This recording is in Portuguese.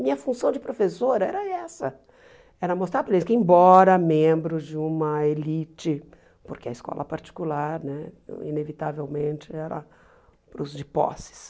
Minha função de professora era essa, era mostrar para eles que, embora membros de uma elite, porque a escola particular né, inevitavelmente, era para os de posses,